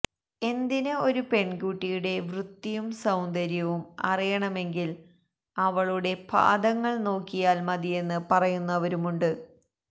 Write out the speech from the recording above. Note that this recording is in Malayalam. എന്തിന് ഒരു പെണ്കുട്ടിയുടെ വൃത്തിയും സൌന്ദര്യവും അറിയണമെങ്കില് അവളുടെ പാദങ്ങള് നോക്കിയാല് മതിയെന്ന് പറയുന്നവരുമുണ്ട്